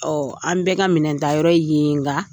an bɛ ka minɛn ta yɔrɔ yen ye nga